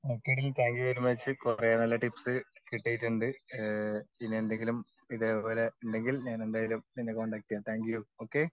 ഒകെടി thank you very much കൊറേ നല്ല tips കിട്ടീട്ടുണ്ട് ഈഹ് പിന്നെ എന്തെകിലും ഇതേപോലെ ഉണ്ടെങ്കിൽ ഞാൻ എന്തായാലും നിന്നെ കോണ്ടാക്ട് ചെയ്യാം താങ്ക്യൂ ഓക്കേ.